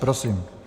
Prosím.